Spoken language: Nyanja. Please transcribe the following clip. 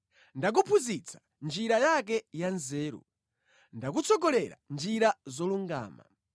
Ndakuphunzitsa njira yake ya nzeru. Ndakutsogolera mʼnjira zolungama.